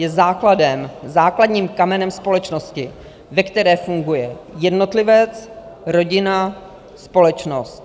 Je základem, základním kamenem společnosti, ve které funguje jednotlivec, rodina, společnost.